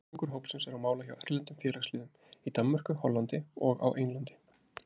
Þriðjungur hópsins er á mála hjá erlendum félagsliðum, í Danmörku, Hollandi og á Englandi.